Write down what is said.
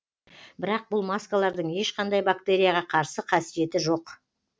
бірақ бұл маскалардың ешқандай бактерияға қарсы қасиеті жоқ